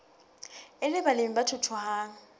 e le balemi ba thuthuhang